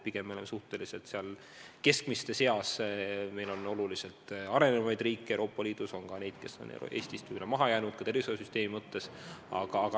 Pigem oleme suhteliselt keskmiste seas: on meist märksa arenenumaid riike Euroopa Liidus ja on ka neid, kes on Eestist maha jäänud, ka tervisehoiusüsteemi osas.